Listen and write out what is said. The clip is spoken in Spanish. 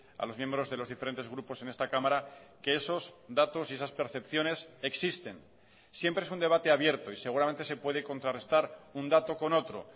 a los miembros de los diferentes grupos en esta cámara que esos datos y esas percepciones existen siempre es un debate abierto y seguramente se puede contrarrestar un dato con otro